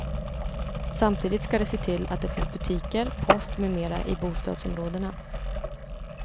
Samtidigt ska de se till att det finns butiker, post med mera i bostadsområdena.